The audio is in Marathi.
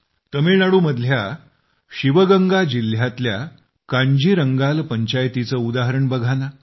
तामिळनाडूमधल्या शिवगंगा जिल्ह्यातल्या कांजीरंगाल पंचायतीचे उदाहरण बघा ना